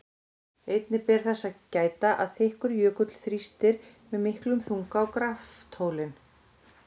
Einnig ber þess að gæta að þykkur jökull þrýstir með miklum þunga á graftólin.